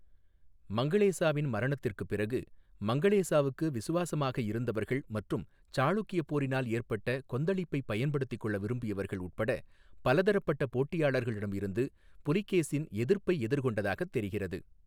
மங்களேசாவின் மரணத்திற்குப் பிறகு, மங்களேசாவுக்கு விசுவாசமாக இருந்தவர்கள் மற்றும் சாளுக்கியப் போரினால் ஏற்பட்ட கொந்தளிப்பை பயன்படுத்திக் கொள்ள விரும்பியவர்கள் உட்பட பலதரப்பட்ட போட்டியாளர்களிடமிருந்து புலிகேசின் எதிர்ப்பை எதிர்கொண்டதாகத் தெரிகிறது.